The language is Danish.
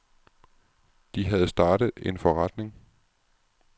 De havde startet en forretning.